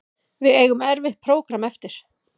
Við eigum erfitt prógramm eftir